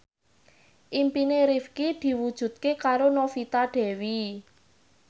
impine Rifqi diwujudke karo Novita Dewi